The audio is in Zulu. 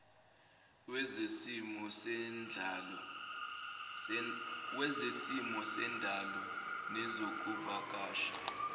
wezesimo sendalo nezokuvakasha